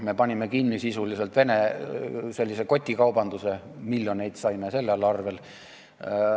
Me panime sisuliselt kinni kotikaubanduse Venemaa piiril, miljoneid saime selle tõttu.